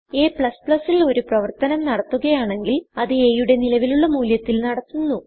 a ൽ ഒരു പ്രവർത്തനം നടത്തുകയാണെങ്കിൽ അത് a യുടെ നിലവിലുള്ള മൂല്യത്തിൽ നടത്തുന്നു